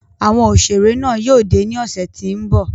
Awọn oṣere náa yóò de ni ọsẹ ti n bọ